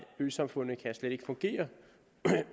øsamfundet slet ikke kan fungere